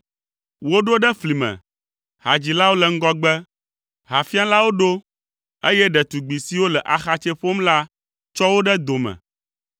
Woɖo ɖe fli me, hadzilawo le ŋgɔgbe, hafialawo ɖo, eye ɖetugbi siwo le axatsɛ ƒom la tsɔ wo ɖe dome.